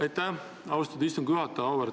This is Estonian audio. Aitäh, austatud istungi juhataja!